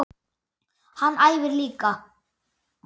Hann æfir líka.